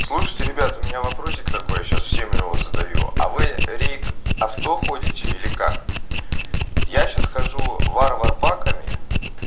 слушайте ребята у меня вопросик такой я сейчас всем его задаю а вы рейт авто ходите или как я сейчас хожу варвар паками